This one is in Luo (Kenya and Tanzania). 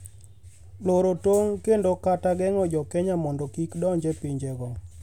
loro tong' kendo kata geng’o jo Kenya mondo kik odonj e pinjego